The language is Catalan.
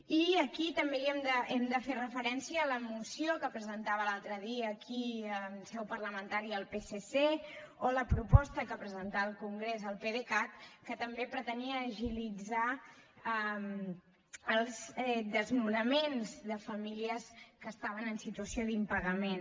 i aquí també hem de fer referència a la moció que presentava l’altre dia aquí en seu parlamentària el psc o la proposta que presentà al congrés el pdecat que també pretenia agilitzar els desnonaments de famílies que estaven en situació d’impagament